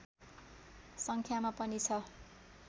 सङ्ख्यामा पनि छ